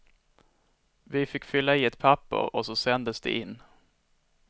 Vi fick fylla i ett papper och så sändes det in.